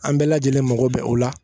An bɛɛ lajɛlen mago bɛ o la